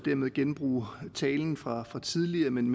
genbruge talen fra tidligere men